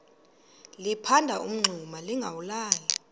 liphanda umngxuma lingawulali